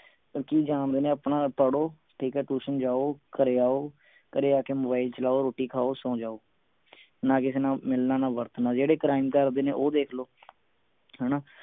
ਕਿ ਜਾਣਦੇ ਨੇ ਆਪਣਾ ਪੜ੍ਹੋ ਠੀਕ ਹੈ tuition ਜਾਓ ਘਰੇ ਆਓ ਘਰੇ ਆ ਕੇ mobile ਚਲਾਓ ਰੋਟੀ ਖਾਓ ਸੋਂ ਜਾਓ ਨਾ ਕਿਸੇ ਨਾਲ ਮਿਲਣਾ ਨਾ ਵਰਤਣਾ ਜਿਹੜੇ crime ਕਰਦੇ ਨੇ ਉਹ ਦੇਖ ਲਓ ਹਣਾ